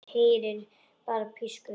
Heyri bara pískur.